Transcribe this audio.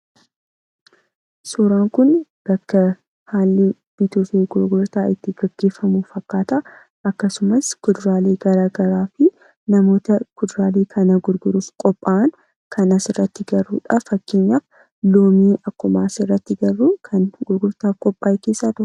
Suuraan kun bakka haalli bituufi gurgurtaa itti gaggeefamu fakkaata akkasumas kuduraalee garagaraa fi namoota kuduraalee kana gurguruuf qophaa'ankan asirratti agarrudha. Fakkeenyaaf loomii akkuma asirratti agarru kan gurgurtaaf qophaa'e keesaa isa tokko.